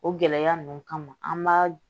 O gɛlɛya ninnu kama an b'a